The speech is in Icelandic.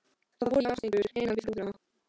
Það voru járnstengur innan við rúðuna.